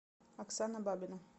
оксана бабина